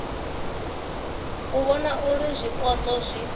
u vhona uri zwipotso zwi